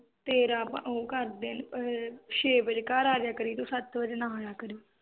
ਤੇਰਾ ਆਪਾਂ ਉਹ ਕਰਦੇ ਆ ਛੇ ਵਜੇ ਘਰ ਆ ਜਾਇਆ ਕਰੀ ਤੂੰ ਸੱਤ ਵਜੇ ਨਾ ਆਇਆ ਕਰੀ